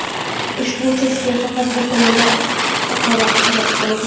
Ushbu uchastkada faqat bir tomonda oqava ariq mavjud.